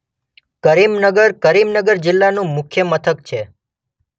કરીમનગર કરીમનગર જિલ્લાનું મુખ્ય મથક છે.